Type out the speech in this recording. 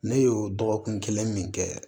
Ne y'o dɔgɔkun kelen min kɛ